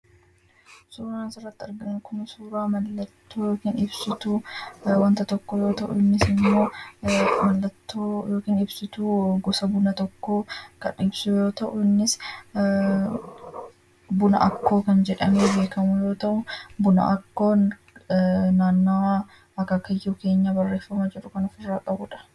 Suuraan asirratti arginu suuraa mallattoo ibsituu wanta tokkoo yoo ta'u innis immoo mallattoo yookiin ibsituu gosa buna tokkoo kan ibsu yoo ta'u innis buna akkoo kan jedhamu yoo ta'u inni barreeffama kan ofirraa qabudha.